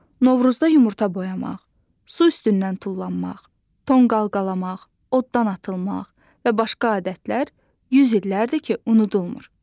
Novruzda yumurta boyamaq, su üstündən tullanmaq, tonqal qalamaq, oddan atılmaq və başqa adətlər 100 illərdir ki, unudulmur.